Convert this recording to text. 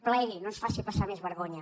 plegui no ens faci passar més vergonya